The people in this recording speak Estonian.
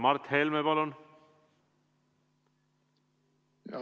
Mart Helme, palun!